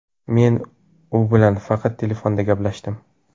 Men u bilan faqat telefonda gaplashdim.